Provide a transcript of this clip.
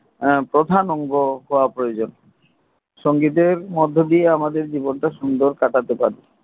হ্যা প্রধান অঙ্গ হওয়া প্রয়োজন সঙ্গীতের মধ্য দিয়া আমাদের জীবন টা সুন্দর কাটাতে পারি